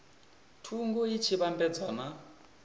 thungo i tshi vhambedzwa na